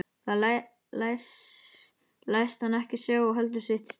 Það læst hann ekki sjá og heldur sitt strik.